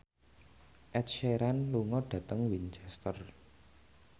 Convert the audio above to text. Ed Sheeran lunga dhateng Winchester